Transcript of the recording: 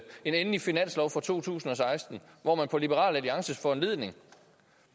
en endelig finanslov for to tusind og seksten hvor man på liberal alliances foranledning